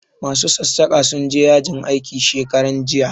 Ma su sassaƙa sun je yajin aiki shekaran jiya